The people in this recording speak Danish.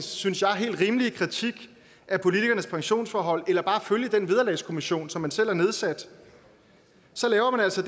synes jeg rimelige kritik af politikernes pensionsforhold eller bare at følge den vederlagskommissionen som man selv har nedsat laver man altså